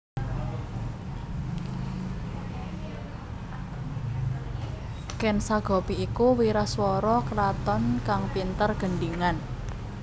Ken Sagopi iku wiraswara kraton kang pinter gendhingan